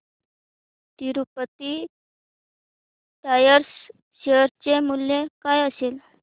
Tirupati tyres share चे मूल्य काय असेल